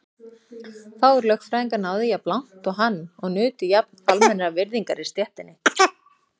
Fáir lögfræðingar náðu jafn langt og hann og nutu jafn almennrar virðingar í stéttinni.